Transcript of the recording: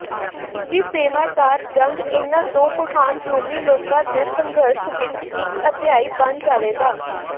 ਤੀਜੀ ਸੇਵਾਦਾਰ ਜੰਗ ਇਹਨਾਂ ਦੋ ਮਹਾਨ ਰੋਮੀ ਲੋਕਾਂ ਦੇ ਸੰਘਰਸ਼ ਵਿੱਚ ਇੱਕ ਅਧਿਆਇ ਬਣ ਜਾਵੇਗਾ